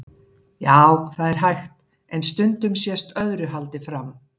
Já, það er hægt, en stundum sést öðru haldið fram.